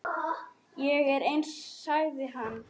Ég er eins, sagði hann.